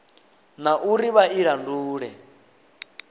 na uri vha i laule